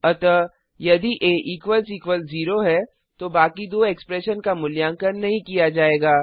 अतः यदि आ ज़ेरो है तो बाकी दो एक्सप्रेशन का मूल्यांकन नहीं किया जायेगा